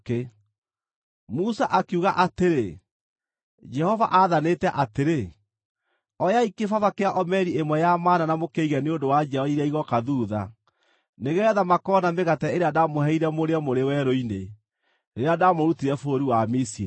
Musa akiuga atĩrĩ, “Jehova aathanĩte atĩrĩ; ‘Oyai kĩbaba kĩa omeri ĩmwe ya mana na mũkĩige nĩ ũndũ wa njiarwa iria igooka thuutha, nĩgeetha makoona mĩgate ĩrĩa ndaamũheire mũrĩe mũrĩ werũ-inĩ, rĩrĩa ndamũrutire bũrũri wa Misiri.’ ”